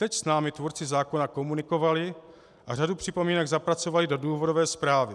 Teď s námi tvůrci zákona komunikovali a řadu připomínek zapracovali do důvodové zprávy.